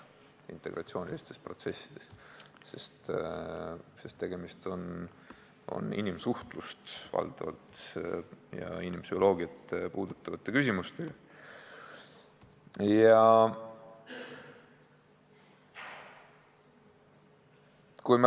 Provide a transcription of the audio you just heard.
Nii on see integratsioonilistes protsessides, sest tegemist on valdavalt inimsuhtlust ja inimpsühholoogiat puudutavate küsimustega.